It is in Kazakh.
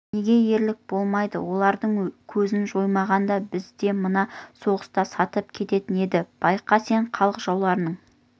неге ерлік болмайды олардың көзін жоймағанда бізді мына соғыста сатып кететін еді байқа сен халық жауларының